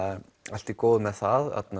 allt í góðu með það